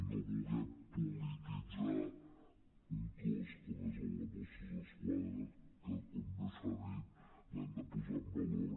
no vulguem polititzar un cos com és el de mossos d’esquadra que com bé s’ha dit l’hem de posar en valor